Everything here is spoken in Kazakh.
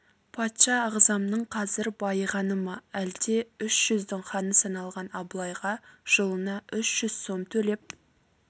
патша ағзамның қазір байығаны ма әлде үш жүздің ханы саналған абылайға жылына үш жүз сом төлеп